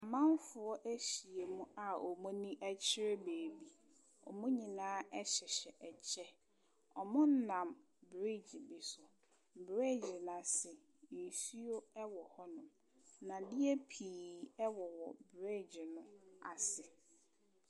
Amanfoɔ ɛyhia mu a ɔmɔ ani kyere beaeɛ bi ɔmɔ nyinaa hyehyɛ kyɛw ɔmɔ nam bridge bi so bridge no asi nsuo wɔ hɔ nom ndadeɛ piiii wɔ hɔ bridge no asi.